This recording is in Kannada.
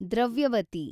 ದ್ರವ್ಯವತಿ